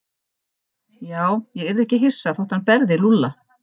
Já, ég yrði ekki hissa þótt hann berði Lúlla.